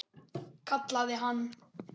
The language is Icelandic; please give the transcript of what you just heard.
Kallaði hann.